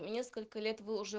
несколько лет вы уже